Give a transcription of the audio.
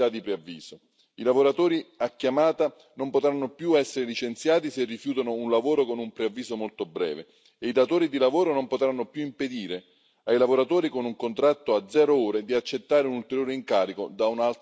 I lavoratori a chiamata non potranno più essere licenziati se rifiutano un lavoro con un preavviso molto breve e i datori di lavoro non potranno più impedire ai lavoratori con un contratto a zero ore di accettare un ulteriore incarico da un altro datore di lavoro.